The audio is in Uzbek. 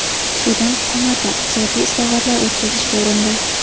Sudan hukumati iqtisodiy islohotlar o‘tkazishga urindi.